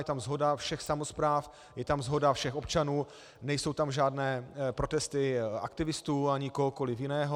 Je tam shoda všech samospráv, je tam shoda všech občanů, nejsou tam žádné protesty aktivistů ani kohokoliv jiného.